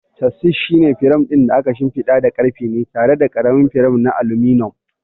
Chassis shine firam ɗin da aka shimfiɗa da ƙarfe na tare da ƙaramin firam na aluminum.